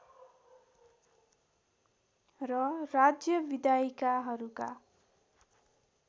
र राज्य विधायिकाहरूका